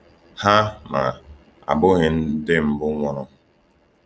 Ha, ma, abụghị ndị mbụ nwụrụ.